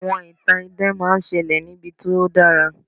àwọn ìtàn idán ma n ṣẹlẹ ní ibi tí o dara